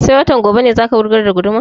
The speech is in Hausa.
Sai watan gobe ne za ka wurgar da gudumar?